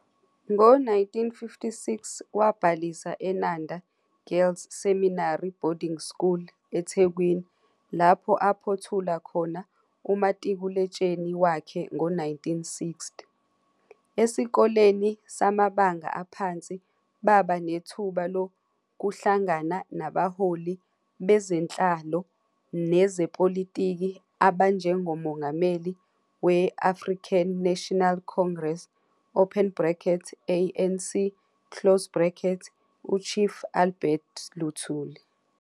Ngo-1956 wabhalisa eNanda Girls Seminary Boarding School eThekwini lapho aphothula khona umatikuletsheni wakhe ngo-1960. Esikoleni samabanga aphansi baba nethuba lokuhlangana nabaholi bezenhlalo nezepolitiki abanjengoMongameli we-African National Congress, ANC, u-Chief Albert Luthuli.